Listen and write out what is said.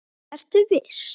Ertu viss?